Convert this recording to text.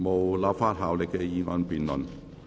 無立法效力的議案辯論。